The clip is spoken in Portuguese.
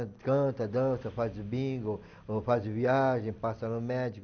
A gente canta, dança, faz bingo, ou faz viagem, passa no